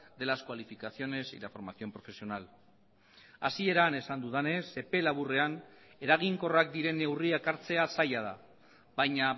de las cualificaciones y la formación profesional hasieran esan dudanez epe laburrean eraginkorrak diren neurriak hartzea zaila da baina